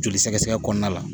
Joli sɛgɛsɛgɛ kɔnɔna la